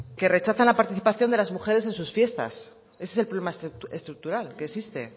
que rechazan la participación de las mujeres en sus fiestas ese es el problema estructural que existe